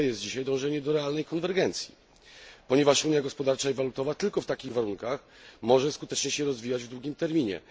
Kluczowe jest dzisiaj dążenie do realnej konwergencji, ponieważ Unia gospodarcza i walutowa tylko w takich warunkach może skutecznie się rozwijać w długim terminie.